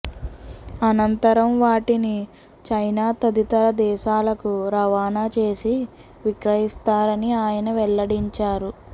అనంతరం వాటిని చైనా తదితర దేశాలకు రవాణా చేసి విక్రయిస్తారని ఆయన వెల్లడించారు